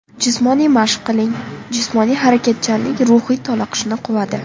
Jismoniy mashq qiling Jismoniy harakatchanlik ruhiy toliqishni quvadi.